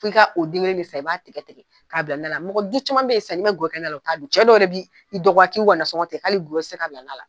K' i ka o denkelen de san, i b'a tigɛ tigɛ k'a bila , mɔgɔ du caman bɛ yen san mn'i ma ngɔyɔ na la, je t'a dun, cɛ dɔw yɛrɛ bɛ i dɔgɔya k'i y'u ka na sɔngɔn tigɛ, kalo gɔyɔ k'i tɛ se k'a bila na la!